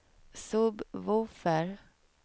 sub-woofer